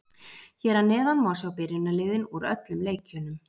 Hér að neðan má sjá byrjunarliðin úr öllum leikjunum.